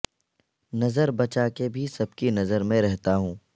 نظر بچا کے بھی سب کی نظر میں رہتا ہوں